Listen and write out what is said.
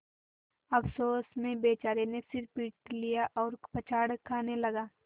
अफसोस में बेचारे ने सिर पीट लिया और पछाड़ खाने लगा